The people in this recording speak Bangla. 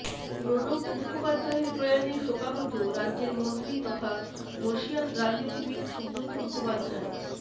প্রণব মুখোপাধ্যায়ের প্রয়াণে শোকাহত রাজ্যের মন্ত্রী তথা বর্ষীয়ান রাজনীতিবিদ সুব্রত মুখোপাধ্যায়